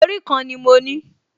Orí kan ni mo ní